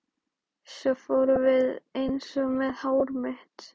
Svo fórum við eins að með hár mitt.